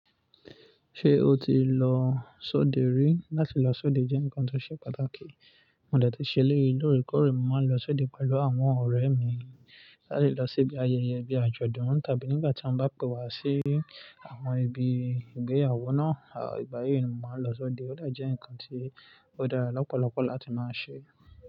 Ṣé o ti lọ sóde rí? Láti lọ sóde jẹ́ nǹkan tó ṣe pàtàkì. Mo dà ti ṣe léyìí, lóòrèkóòrè mo máa ń lọ sóde pẹ̀lú àwọn ọ̀rẹ́ mi. Láti lọ sí ibi ayẹyẹ bíi àjọ̀dún tàbí nígbà tí wọ́n bá pe wa sí àwọn ibi ìgbéyàwó náà, àwọn ìgba yii náà mo máa ń lọ sóde, ó dà jẹ́ ǹkan tí ó dára lọ́pọ̀lọpọ̀ láti máa ṣe.